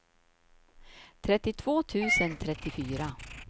trettiotvå tusen trettiofyra